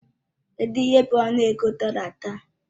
Kedụ ihe bụ ọnụego dollar taa?